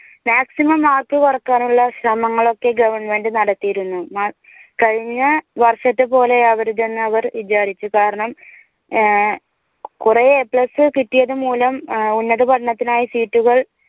maximum mark കുറയ്ക്കാനുള്ള ശ്രമങ്ങളൊക്കെ government നടത്തിയിരുന്നു. കഴിഞ്ഞ വർഷത്തെ പോലെ ആകരുത് എന്ന് അവർ വിചാരിച്ചു കാരണം കുറേ A plus കിട്ടിയത് മൂലം ഉന്നത പഠനത്തിനായി seat ഉകൾ